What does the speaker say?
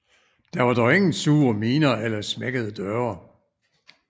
Der var dog ingen sure miner eller smækkede døre